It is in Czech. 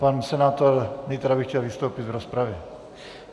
Pan senátor Nytra by chtěl vystoupit v rozpravě.